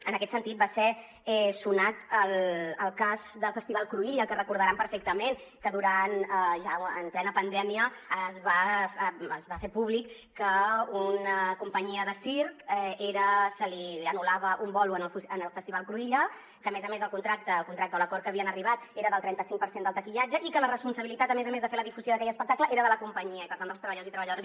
en aquest sentit va ser sonat el cas del festival cruïlla que recordaran perfectament que ja en plena pandèmia es va fer públic que a una companyia de circ se li anul·lava un bolo en el festival cruïlla que a més a més el contracte o l’acord a què havien arribat era del trenta cinc per cent del taquillatge i que la responsabilitat a més a més de fer la difusió d’aquell espectacle era de la companyia i per tant dels treballadors i treballadores